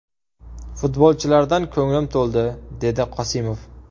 Futbolchilardan ko‘nglim to‘ldi”, − dedi Qosimov.